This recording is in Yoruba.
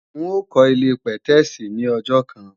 N ó kọ́ ilé-pẹ̀tẹ́èsì ní ọjọ́ kan